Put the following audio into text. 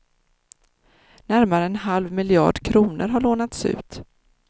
Närmare en halv miljard kronor har lånats ut.